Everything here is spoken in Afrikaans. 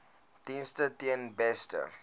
dienste ten beste